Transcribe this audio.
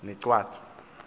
negwatyu